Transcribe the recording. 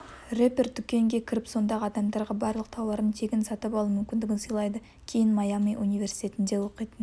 рэпер дүкенге кіріп сондағы адамдарға барлық тауарын тегін сатып алу мүмкіндігін сыйлайды кейін майами университетінде оқитын